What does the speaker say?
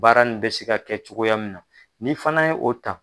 Baara in bɛ se ka kɛ cogoya min na, ni fana ye o ta.